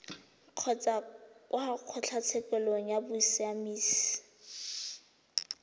kgotsa kwa kgotlatshekelo ya bosiamisi